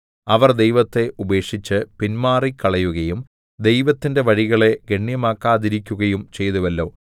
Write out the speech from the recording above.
അവർ ദൈവത്തെ ഉപേക്ഷിച്ച് പിന്മാറിക്കളയുകയും ദൈവത്തിന്റെ വഴികളെ ഗണ്യമാക്കാതിരിക്കുകയും ചെയ്തുവല്ലോ